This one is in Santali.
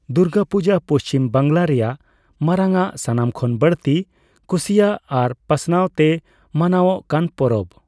ᱫᱩᱨᱜᱟᱹᱯᱩᱡᱟᱹ ᱯᱩᱪᱷᱤᱢ ᱵᱟᱝᱞᱟ ᱨᱮᱭᱟᱜ ᱢᱟᱨᱟᱝ ᱟᱜ, ᱥᱟᱱᱟᱢ ᱠᱷᱚᱱ ᱵᱟᱹᱲᱛᱤ ᱠᱩᱥᱤᱭᱟᱜ ᱟᱨ ᱯᱟᱥᱱᱟᱣᱛᱮ ᱢᱟᱱᱟᱣᱚᱜ ᱠᱟᱱ ᱯᱚᱨᱚᱵᱽ᱾